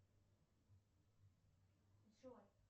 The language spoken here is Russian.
джой